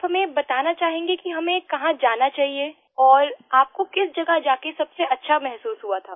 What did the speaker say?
आप हमें बताना चाहेंगे कि हमें कहाँ जाना चाहिए और आपको किस जगह जा कर सबसे अच्छा महसूस हुआ था